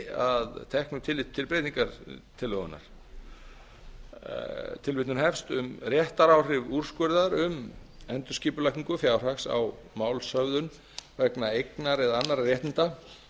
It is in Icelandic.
að teknu tilliti til breytingartillögunnar um réttaráhrif úrskurðar um endurskipulagningu fjárhags á málshöfðun vegna eignar eða annarra réttinda